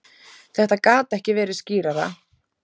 Þetta gat ekki verið skýrara.